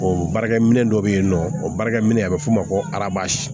O baarakɛ minɛ dɔ bɛ yen nɔ o baarakɛminɛn a bɛ f'o ma ko arazi